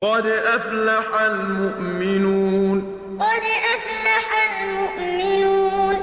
قَدْ أَفْلَحَ الْمُؤْمِنُونَ قَدْ أَفْلَحَ الْمُؤْمِنُونَ